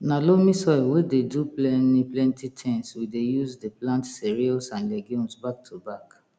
na loamy soil wey dey do pleni plenti tins we dey use dey plant cereals and legumes back to back